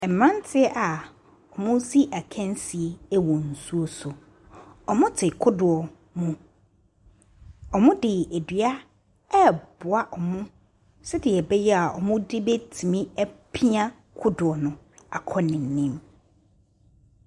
Mmeranteɛ a wɔresi akansie wɔ nsuo so. Wɔte kodoɔ mu. Wɔde dua reboa wɔn sɛdeɛ ɛbɛyɛ a wɔde bɛtumi apia kodoɔ no akɔ n'anim.